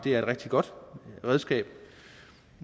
et rigtig godt redskab